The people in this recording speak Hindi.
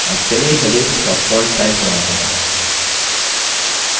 अब चलिए headings का font size बढ़ाते हैं